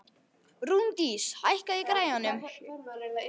Rúndís, hækkaðu í græjunum.